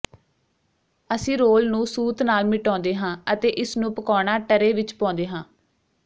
ਅਸੀਂ ਰੋਲ ਨੂੰ ਸੂਤ ਨਾਲ ਮਿਟਾਉਂਦੇ ਹਾਂ ਅਤੇ ਇਸਨੂੰ ਪਕਾਉਣਾ ਟਰੇ ਵਿਚ ਪਾਉਂਦੇ ਹਾਂ